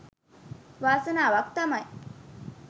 වාසනාවක් තමයි.